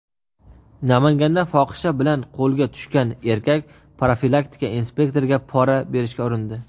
Namanganda fohisha bilan qo‘lga tushgan erkak profilaktika inspektoriga pora berishga urindi.